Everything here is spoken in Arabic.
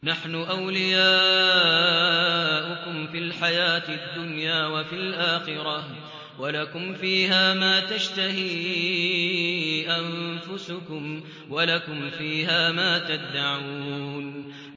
نَحْنُ أَوْلِيَاؤُكُمْ فِي الْحَيَاةِ الدُّنْيَا وَفِي الْآخِرَةِ ۖ وَلَكُمْ فِيهَا مَا تَشْتَهِي أَنفُسُكُمْ وَلَكُمْ فِيهَا مَا تَدَّعُونَ